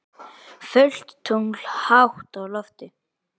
Fullt tungl hátt á lofti.